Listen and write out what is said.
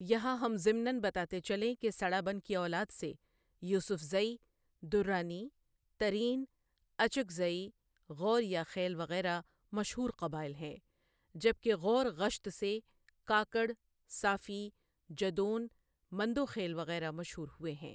یہاں ہم ضمناً بتاتے چلیں کہ سڑابن کی اولاد سے یوسفزئی، درانی، ترین، اچکزئی، غوریا خیل وغیرہ مشہور قبائل ہیں جبکہ غور غشت سے کاکڑ، صافی، جدون، مندوخېل وغیرہ مشہور ہوئے ہیں۔